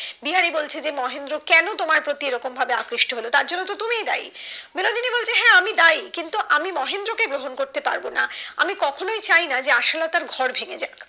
বিহারি বলছে মহেন্দ্র কেন তোমার প্রতি এরকমভাবে আকৃষ্ট হলো তার জন্য তুমি দায়ী বিনোদিনী বলছে হ্যাঁ আমি দায়ী কিন্ত আমি মহেন্দ্র কে গ্রহণ করতে পারবো না আমি কখনোই চাইনা আশালতার ঘর ভেঙ্গে যাক